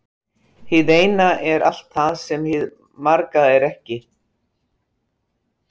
Hið eina er allt það sem hið marga er ekki.